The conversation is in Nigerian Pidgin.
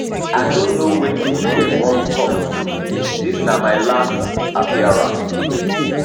i no know wetin dem wan come do dis na my last appearance